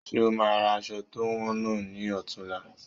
Ṣe o máa ra aṣọ to wọn náà ni ọ̀tunla?